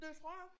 Det tror jeg